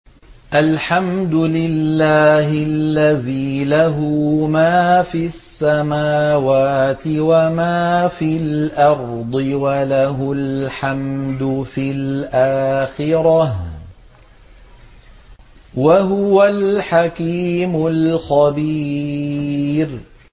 الْحَمْدُ لِلَّهِ الَّذِي لَهُ مَا فِي السَّمَاوَاتِ وَمَا فِي الْأَرْضِ وَلَهُ الْحَمْدُ فِي الْآخِرَةِ ۚ وَهُوَ الْحَكِيمُ الْخَبِيرُ